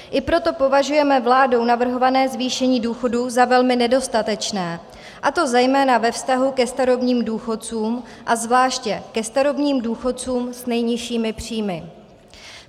I proto považujeme vládou navrhované zvýšení důchodů za velmi nedostatečné, a to zejména ve vztahu ke starobních důchodcům a zvláště ke starobním důchodcům s nejnižšími příjmy.